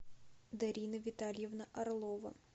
дарина витальевна орлова